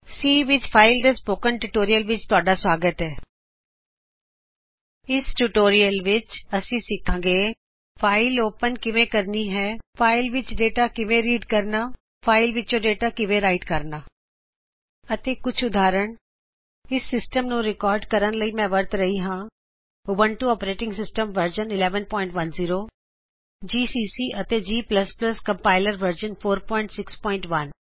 file handling ਦੇ spoken tutorial ਵਿੱਚ ਆਪਦਾ ਸਵਾਗਤ ਹੈ ਇਸ ਟਯੁਟੋਰਿਅਲ ਵਿਚ ਅਸੀਂ ਸਿਖਾਂਗੇ ਫਾਇਲ ਓਪੇਨ ਕਿਵੇਂ ਕਰਨੀ ਹੈ ਫਾਇਲ ਵਿਚੋਂ ਡਾਟਾ ਰੀਡ ਕਿਵੇਂ ਕਰਨਾ ਹੈ ਫਾਇਲ ਵਿਚੋਂ ਡਾਟਾ ਰਾਇਟ ਕਿਵੇਂ ਕਰਨਾ ਹੈ ਅਤੇ ਕੁਝ ਉਦਾਹਰਨਾਂ ਇਸ ਟਯੁਟੋਰਿਅਲ ਨੂੰ ਰਿਕਾਰਡ ਕਰਨ ਲਈ ਮੈ ਵਰਤ ਰਿਹਾਂ ਹਾਂ ਉਬਤੂੰ operating system version 1110 G C C ਅਤੇ ਜੀਜੀ ਕੰਪਾਇਲਰ ਵਰਜ਼ਨ 461